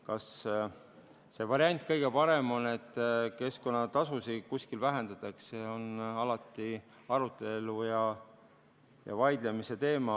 Kas see variant kõige parem on, et keskkonnatasusid kuskil vähendatakse, on alati arutelu ja vaidlemise teema.